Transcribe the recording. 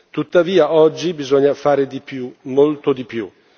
Tuttavia, oggi bisogna fare di più, molto di più.